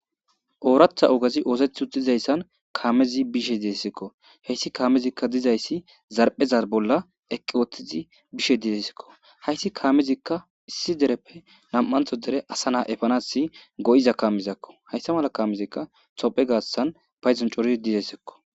"Ooratha ogezi ootheti uttidaysan kaamezi bishe deesekko hessi kaamezika dizaysi zarphpheza bolla eqqi ootidi bishe dizaysakko hayssi kaamezka issi dereppe nam'antho dere asa na'a efanas go'iza kaamezakko hayssa mala kaamezika Thopia gaathan payddon coridi dizaysakko."